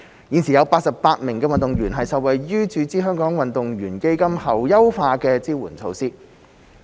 現時已有88名運動員受惠於注資香港運動員基金後優化支援措施。